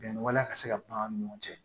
Bɛnni waleya ka se ka ban an ni ɲɔgɔn cɛ